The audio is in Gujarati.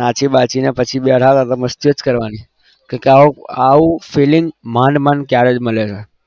નાચી બાચીને બધા બેઠા હતા તો મસ્તીઓ જ કરવાની કેમ કે આવું આવું feeling માંડ માંડ ત્યારે જ મળે છે.